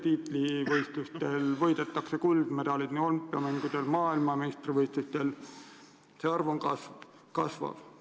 Tiitlivõistlustel võidetakse kuldmedaleid – olümpiamängudel, maailmameistrivõistlustel – see arv kasvab.